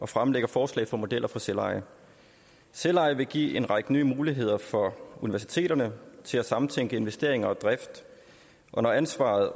og fremlægger forslag for modeller for selveje selveje vil give en række nye muligheder for universiteterne til at samtænke investeringer og drift og når ansvaret